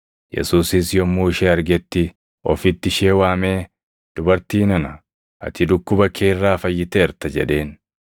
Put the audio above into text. Yesuusis yommuu ishee argetti ofitti ishee waamee, “Dubartii nana, ati dhukkuba kee irraa fayyiteerta” jedheen,